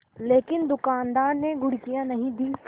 लेकिन दुकानदार ने घुड़कियाँ नहीं दीं